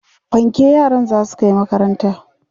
fanke yaran zasu Kai makaranta